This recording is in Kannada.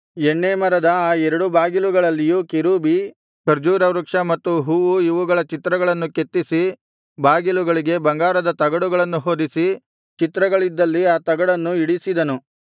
ಎಣ್ಣೇ ಮರದ ಆ ಎರಡು ಬಾಗಿಲುಗಳಲ್ಲಿಯೂ ಕೆರೂಬಿ ಖರ್ಜೂರವೃಕ್ಷ ಮತ್ತು ಹೂವು ಇವುಗಳ ಚಿತ್ರಗಳನ್ನು ಕೆತ್ತಿಸಿ ಬಾಗಿಲುಗಳಿಗೆ ಬಂಗಾರದ ತಗಡುಗಳನ್ನು ಹೊದಿಸಿ ಚಿತ್ರಗಳಿದ್ದಲ್ಲಿ ಆ ತಗಡನ್ನು ಇಡಿಸಿದನು